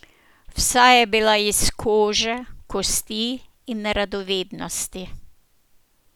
Vsa je bila iz kože, kosti in radovednosti.